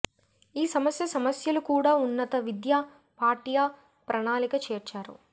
ఈ సమస్య సమస్యలు కూడా ఉన్నత విద్య పాఠ్య ప్రణాళిక చేర్చారు